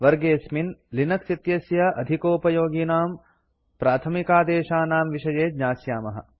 वर्गेऽस्मिन् Linux इत्यस्य अधिकोपयोगिनां प्राथमिकादेशानां विषये ज्ञास्यामः